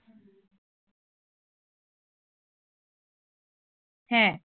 হ্যাঁ